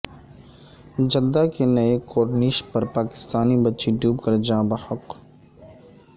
Jeddah کے نئے corniche پر پاکستانی بچی ڈوب کر جاں بحق